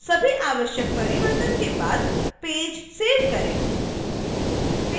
सभी आवश्यक परिवर्तन करने के बाद पेज सेव करें